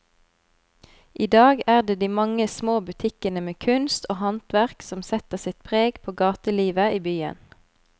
I dag er det de mange små butikkene med kunst og håndverk som setter sitt preg på gatelivet i byen.